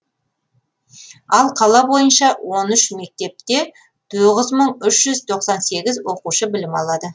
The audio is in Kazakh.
ал қала бойынша он үш мектепте тоғыз мың үш жүз тоқсан сегіз оқушы білім алады